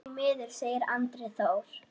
Því miður, segir Andri Þór.